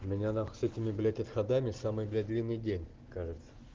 у меня нахуй с этими блядь отходами самый блядь длинный день кажется